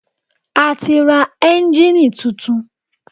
A ti ra ẹ́ńjínnìì tuntun.